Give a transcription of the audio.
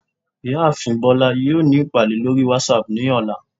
ìyáàfín bolá yọọ ní ipadé lorí watsap ní ọla